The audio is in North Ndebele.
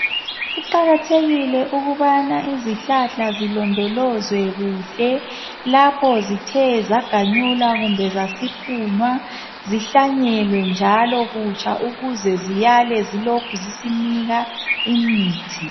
Kuqakathekile ukubana izihlahla zilondolozwe kuhle lapho zithe zaganyulwa kumbe zasiphunwa zihlanyelwe njalo kutsha ukuze ziyale zilokhu zisinika imithi.